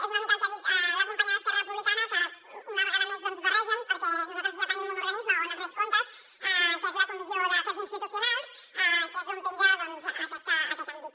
és una mica el que ha dit la companya d’esquerra republicana que una vegada més ho barregen perquè nosaltres ja tenim un organisme on es ret comptes que és la comissió d’afers institucionals que és d’on penja doncs aquest àmbit